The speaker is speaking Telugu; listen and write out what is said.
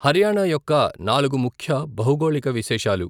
హర్యానా యొక్క నాలుగు ముఖ్య భౌగోళిక విశేషాలు.